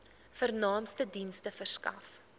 vernaamste dienste verskaf